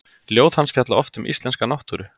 Ljóð hans fjalla oft um íslenska náttúru.